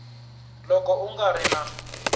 loko u nga ri na